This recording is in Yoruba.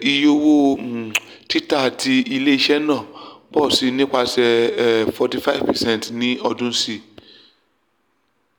iye owo um tita ti ile-iṣẹ naa pọ si nipasẹ um 45 percent ni ọdun si